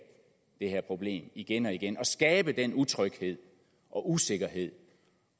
det her problem igen og igen og skabe den utryghed og usikkerhed